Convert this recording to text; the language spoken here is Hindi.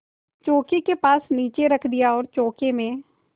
चौकी के पास नीचे रख दिया और चौके में